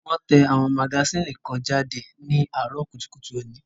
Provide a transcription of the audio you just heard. Wón tẹ àwọn magasínì kan jáde ní àárọ̀ kùtùkùtù òní